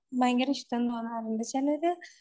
ഭയങ്കരഷ്ടാണെന്ന് തോന്നാറുണ്ട് ചിലര്